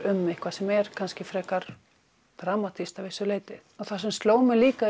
um eitthvað sem er kannski frekar dramatískt að vissu leyti það sem sló mig líka